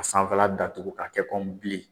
A sanfɛla datugu ka kɛ komi bili.